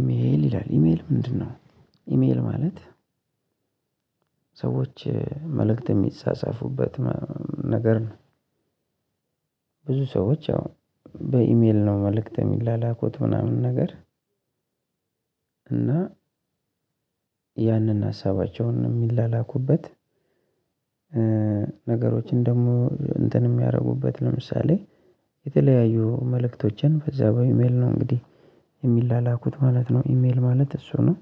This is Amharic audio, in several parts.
ኢሜል ይላል ኢሜል ምንድነው? ኢሜል ማለት ሰዎች መልእክት የሚጻጻፉበት ነገር ነው ብዙ ሰዎች ያው በኢሜል ነው መልእክት የሚላኩት ምናምን ነገር እና ያንን ሀሳባቸውን የሚላኩበት ነገሮችን ደግሞ እንትን የሚያደርጉበት ለምሳሌ የተለያዩ መልእክቶችን በዛ በኢሜል ነው እንግዲህ የሚላላኩት ማለት ነው ኢሜል ማለት እሱ ነው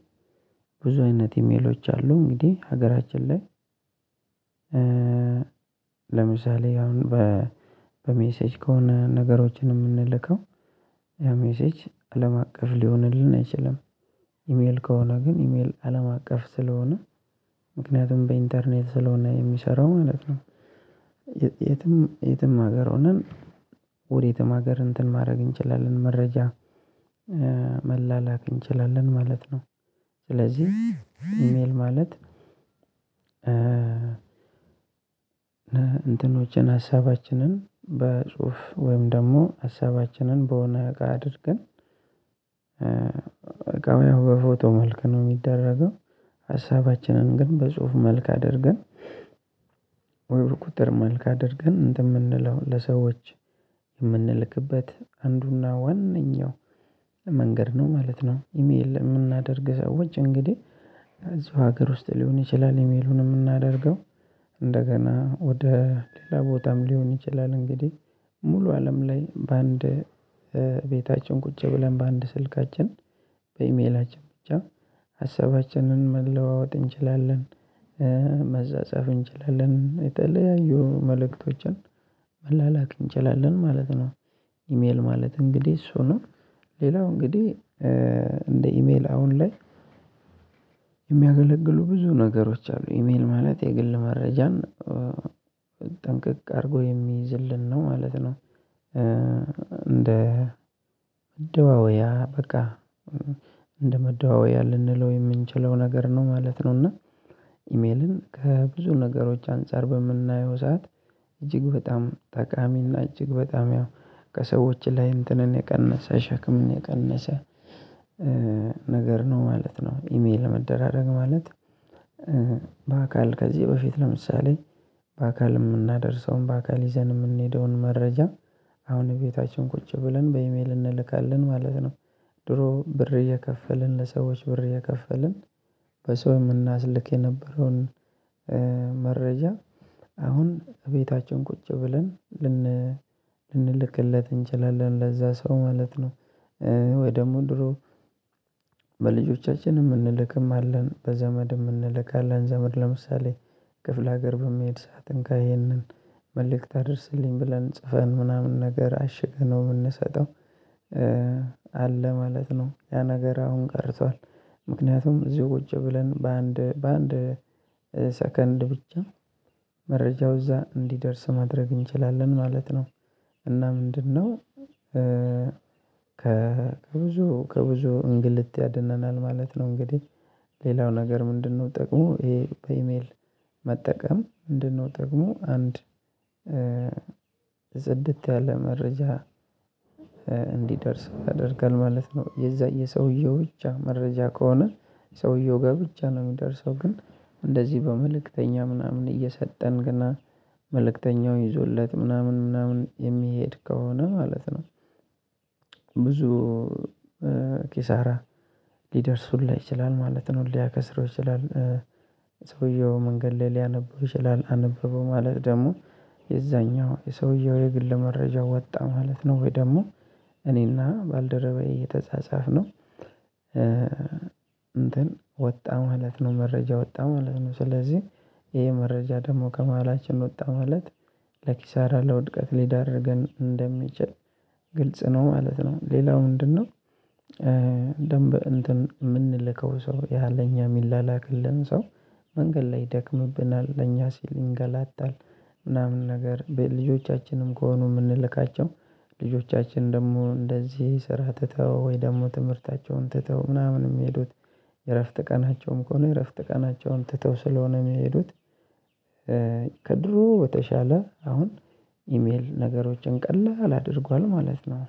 ብዙ አይነት ኢሜሎች አሉ እንግዲህ ሀገራችን ላይ ለምሳሌ አሁን በሜሴጅ ከሆነ ነገሮችን የምንልከው ያ ሜሴጅ አለም አቀፍ ሊሆንልን አይችልም። ኢሜል ከሆነ ግን ኢሜል አለም አቀፍ ስለሆነ ምክንያቱም በኢንተርኔት ስለሆነ የሚሰራው ማለት ነው። የትም የትም ሀገር ሆነን ወዴትም ሀገር እንትን ማድረግ እንችላለን መረጃ መላላክ እንችላለን ማለት ነው። ስለዚህ ኢሜል ማለት እንትኖችን ሀሳባችንን በጽሁፍ ወይም ደግሞ ሀሳባችንን በሆነ እቃ አድርገን በቃ በፎቶ መልክ ነው የሚደረገው ሀሳባችንን ግን በጽሁፍ መልክ አድርገን ወይ ቁጥር መልክ አድርገን እንትን ምንለው ለሰዎች የምንልክበት አንዱና ዋነኛው መንገድ ነው ማለት ነው። ኢሜል የምናደርግ ሰዎች እንግዲህ እዚው ሀገር ውስጥ ሊሆን ይችላል ኢሜሉን የምናደርገው። እንደገና ወደ ሌላ ቦታም ሊሆን ይችላል እንግዲህ ሙሉ አለም ላይ በአንድ ቤታችን ቁጭ ብለን በአንድ ስልካችን በኢሜላችን ብቻ ሀሳባችንን መለዋወጥ እንችላለን። መጸጻፉ እንችላለን የተለያዩ መልእክቶችን መላላክ እንችላለን ማለት ነው። ኢሜል ማለት እንግዲህ እሱ ነው ሌላው እንግዲህ እንደ ኢሜል አሁን ላይ የሚያገለግሉ ብዙ ነገሮች አሉ ኢሜል ማለት የግል መረጃን ጠንቅቅ አድርጎ የሚይዝልን ነው ማለት ነው። እንደ መደዋወያ በቃ እንደ መደዋወያ ልንለው የምንችለው ነገር ነው ማለት ነው እና ኢሜልን ከብዙ ነገሮች አንፃር በምናየው ሰዓት እጅግ በጣም ጠቃሚና እጅግ በጣም ያው ከሰዎች ላይ እንትንን የቀነሰ ሸክምን የቀነሰ ነገር ነው ማለት ነው ኢሜል ለመደራረግ ማለት በአካል ከዚህ በፊት ለምሳሌ በአካል የምናደርሰውን በአካል ይዘን የምንሄደውን መረጃ አሁን ቤታችን ቁጭ ብለን በኢሜል እንልካለን ማለት ነው። ድሮ ብር እየከፈለን ለሰዎች ብር እየከፈለን በሰው የምናስልክ የነበረውን መረጃ አሁን እቤታችን ቁጭ ብለን ልንልክለት እንችላለን ለዛ ሰው ማለት ነው። ወይ ደግሞ ድሮ በልጆቻችንም እንልክም አለን በዘመድም እንልካለን ዘመድ ለምሳሌ ክፍለ ሀገር በሚሄድ ሰዓት እንካ ይህንን መልእክት አድርስልኝ ብለን ጽፈን ምናምን ነገር አሽገነው የምንሰጠው። አለ ማለት ነው ያ ነገር አሁን ቀርቷል ምክንያቱም እዚሁ ቁጭ ብለን በአንድ በአንድ ሰከንድ ብቻ መረጃው እዛ እንዲደርስ ማድረግ እንችላለን ማለት ነው እና ምንድነው? ከብዙ ከብዙ እንግልት ያድነናል ማለት ነው እንግዲህ ሌላው ነገር ምንድነው ጠቅሞ ይሄ በኢሜል መጠቀም ምንድነው ጥቅሙ አንድ ጽድት ያለ መረጃ እንዲደርስ ያደርጋል ማለት ነው። የዛ የሰውዬው ብቻ መረጃ ከሆነ ሰውዬው ጋ ብቻ ነው የሚደርሰው ግን እንደዚህ በመልእክተኛ ምናምን እየሰጠን ገና መልእክተኛው ይዞለት ምናምን ምናምን የሚሄድ ከሆነ ማለት ነው። ብዙ ኪሳራ ሊደርስ ሁላ ይችላል ማለት ነው። ሊያከስረው ይችላል ሰውዬው መንገድ ላይ ሊያነበው ይችላል አነበበው ማለት ደግሞ የዛኛው የሰውዬው የግል መረጃ ወጣ ማለት ነው ወይ ደግሞ እኔና ባልደረባዬ የተጻጻፍነው እንትን ወጣ ማለት ነው መረጃ ወጣ ማለት ነው ስለዚህ ይሄ መረጃ ደግሞ ከመሃላችን ወጣ ማለት ለኪሳራ ለውድቀት ሊዳርገን እንደሚችል ግልጽ ነው ማለት ነው ሌላው ምንድነው? ደንብ እንትን የምንልከው ሰው ያለ እኛ የሚላላክልን ሰው መንገድ ላይ ደክምብናል ለኛ ሲል እንገላታል ምናምን ነገር ልጆቻችንም ከሆኑ የምንልካቸው ልጆቻችን ደግሞ እንደዚህ ስራ ትተው ወይ ደግሞ ትምህርታቸውን ትተው ምናምን የሚሄዱት የእረፍት ቀናቸውም ከሆነ የእረፍት ቀናቸውን ትተው ስለሆነ የሚሄዱት ከድሮ በተሻለ አሁን ኢሜል ነገሮችን ቀላል አድርጓል ማለት ነው።